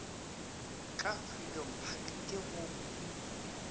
ka freedom park ke go